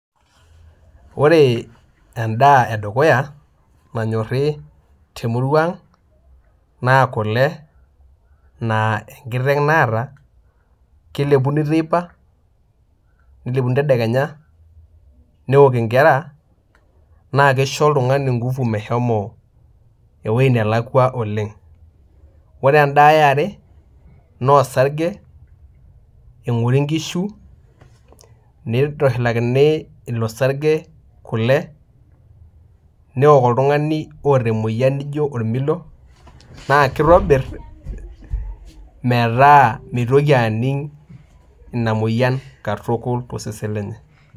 Ore endaa edukuya nanyori temurua aang naa kule na enkiteng naata, kelepuni teipa nelepini tedekenya neaok nkera na kisho oltungani enguvu meshomo ewoi nalakwa oleng ,ore endaa eare na osarge engori nkishu nitushulakini ilosarge kule neok oltungani oata emoyian nijo ormilo na kitobir metaabmitoki aning ina moyian katukul tosesen lenye.